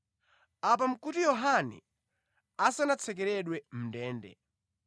(Apa nʼkuti Yohane asanatsekeredwe mʼndende).